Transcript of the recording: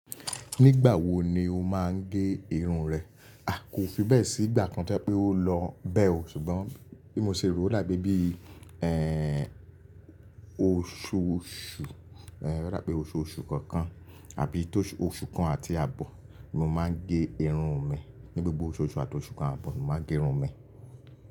Nígbà wo ni o máa ń gé irun rẹ? A! Kò fi bẹ́ẹ̀ sí ìgbà kan tí a pé ó lọ bẹ́ẹ̀ o, ṣùgbọ́n bí mo ṣe rò oda peé bí, ẹ́, oṣooṣù, ẹ́, oda pé oṣooṣù kankan àbí tó oṣù kan àti àbọ̀ ni mo máa ń gé irun mi. Ni gbogbo oṣooṣù àti oṣù kan àbọ̀ ni mo máa ń gé irun mi.